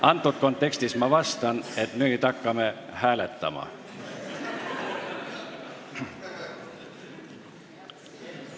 Aga praeguses kontekstis ma ütlen, et nüüd hakkame hääletama.